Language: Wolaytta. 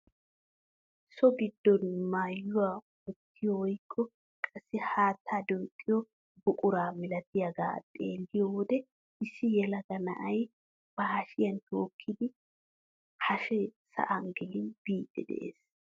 So giddon maayuwaa wottiyoo woykko qassi haattaa duqqiyoo buquraa milatiyaagaa xeelliyoo wode issi yelaga na'ay ba hashiyaan tookidi hashee sa'an gelin biidi de'ees.